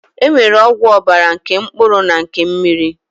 E nwere ọgwụ ọbara nke mkpụrụ na nke mmiri